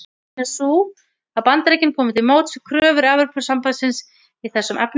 Ástæðan er sú að Bandaríkin komu til móts við kröfur Evrópusambandsins í þessum efnum.